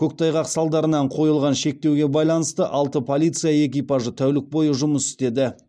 көктайғақ салдарынан қойылған шектеуге байланысты алты полиция экипажы тәулік бойы жұмыс істеді